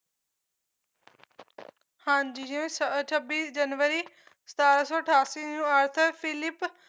ਹਾਂਜੀ ਜਿਵੇਂ ਛ ਛੱਬੀ ਜਨਵਰੀ ਸਤਾਰਾਂ ਸੌ ਅਠਾਸੀ ਨੂੰ ਆਰਥਿਕ ਫਿਲਿਪ